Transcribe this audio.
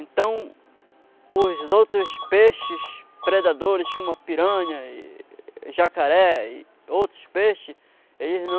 Então, os outros peixes predadores, como a piranha e jacaré e outros peixes, eles não...